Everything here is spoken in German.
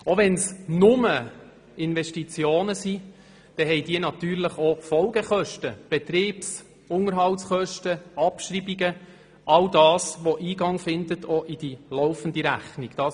Auch wenn es «nur» Investitionen sind, so haben diese natürlich auch Folgekosten: Betriebs- und Unterhaltskosten, Abschreibungen, all das, was Eingang in die laufende Rechnung findet.